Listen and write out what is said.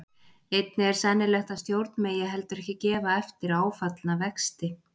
Einnig er sennilegt að stjórn megi heldur ekki gefa eftir áfallna vexti.